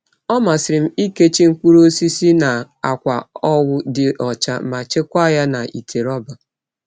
Ọ masịrị m ikechi mkpụrụ osisi na akwa owu dị ọcha ma chekwaa ya n'ite rọba.